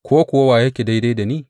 Ko kuwa wa yake daidai da ni?